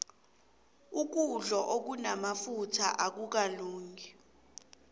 ukudlo okunamafutha akukalungi